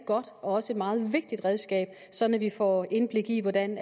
godt og også et meget vigtigt redskab sådan at vi får indblik i hvordan